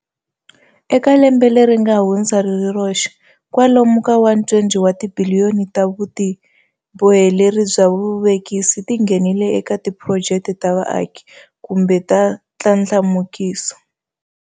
Eka lembe leri nga hundza ri ri roxe, kwalomu ka R120 wa tibiliyoni ta vutiboheleri bya vuvekisi ti nghenile eka tiphurojeke ta vuaki kumbe ta ndlandlamukiso.